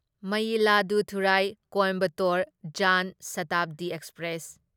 Mayiladuthurai Coimbatore Jan Shatabdi express